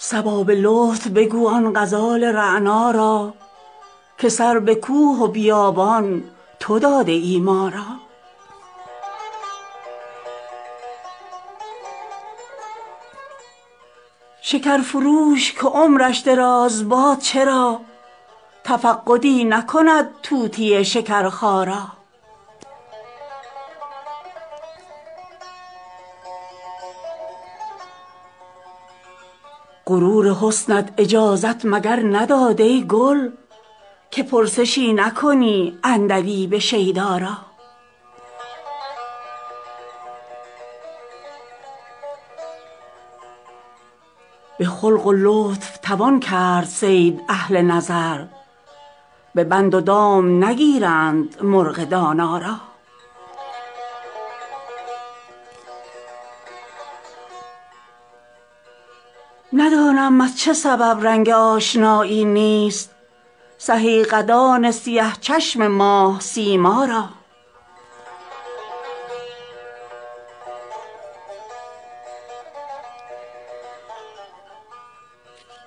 صبا به لطف بگو آن غزال رعنا را که سر به کوه و بیابان تو داده ای ما را شکر فروش که عمرش دراز باد چرا تفقدی نکند طوطی شکرخا را غرور حسنت اجازت مگر نداد ای گل که پرسشی نکنی عندلیب شیدا را به خلق و لطف توان کرد صید اهل نظر به بند و دام نگیرند مرغ دانا را ندانم از چه سبب رنگ آشنایی نیست سهی قدان سیه چشم ماه سیما را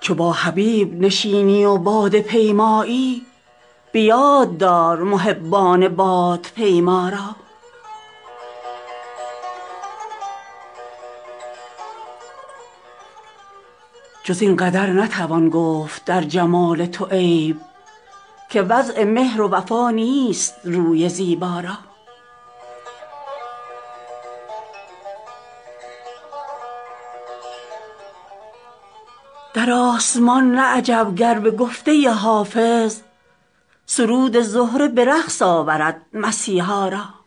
چو با حبیب نشینی و باده پیمایی به یاد دار محبان بادپیما را جز این قدر نتوان گفت در جمال تو عیب که وضع مهر و وفا نیست روی زیبا را در آسمان نه عجب گر به گفته حافظ سرود زهره به رقص آورد مسیحا را